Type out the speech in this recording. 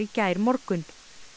gærmorgun